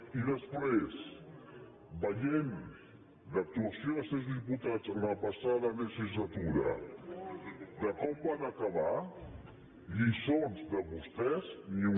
i després veient l’actuació dels seus diputats en la passada legislatura com van acabar lliçons de vostès ni una